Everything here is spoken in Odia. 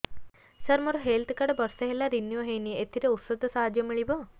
ସାର ମୋର ହେଲ୍ଥ କାର୍ଡ ବର୍ଷେ ହେଲା ରିନିଓ ହେଇନି ଏଥିରେ ଔଷଧ ସାହାଯ୍ୟ ମିଳିବ